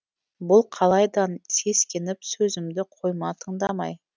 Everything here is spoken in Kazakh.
бұл қалайдан сескеніп сөзімді қойма тыңдамай